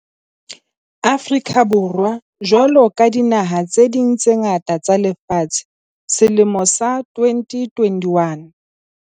Afrika Borwa jwalo ka dinaha tse ding tse ngata tsa lefatshe, selemo sa 2021